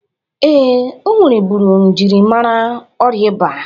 Ee, o nwereburu mjiri amara ọrịa ịba.